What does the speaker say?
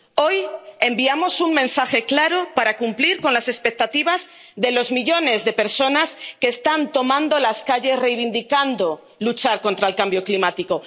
Hoy enviamos un mensaje claro para cumplir las expectativas de los millones de personas que están tomando las calles reivindicando la lucha contra el cambio climático.